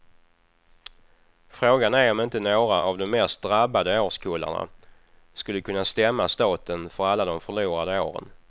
Frågan är om inte några av de mest drabbade årskullarna skulle kunna stämma staten för alla de förlorade åren.